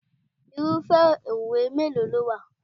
Irúfẹ́ òwe mélòó ló wà?